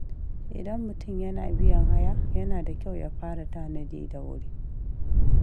Idan mutum yana biyan haya, yana da kyau ya fara tanadi da wuri.